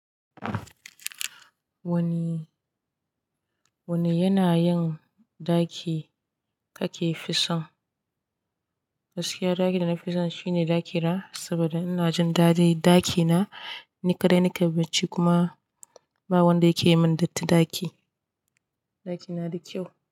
Wani, wani yana yin, ɗaki kake fison? Gaskiya ɗakin da na fi so shine ɗaki na, saboda ina jin dadin ɗaki na, ni kaɗai nake barci kuma, ba wanda yakeyi mun datti ɗaki. Ɗaki na da kyau.